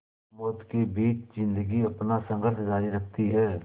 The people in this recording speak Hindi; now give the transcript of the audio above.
मौत के बीच ज़िंदगी अपना संघर्ष जारी रखती है